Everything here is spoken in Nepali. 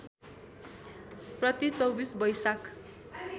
प्रति २४ वैशाख